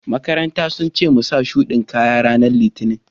maƙarantan sun ce mu sa shuɗi kaƴa ranan litinin.